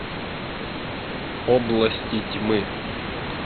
области тьмы